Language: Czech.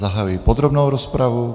Zahajuji podrobnou rozpravu.